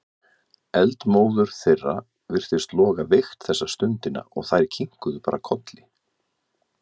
Eldmóður þeirra virtist loga veikt þessa stundina og þær kinkuðu bara kolli.